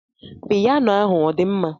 Piyano ahụ ọdịmma?